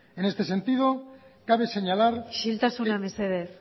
en este sentido cabe señalar isiltasuna mesedez